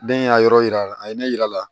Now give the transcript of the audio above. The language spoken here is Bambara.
Den y'a yɔrɔ yira a ye ne yira a la